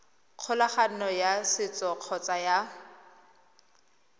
kgolagano ya setso kgotsa ya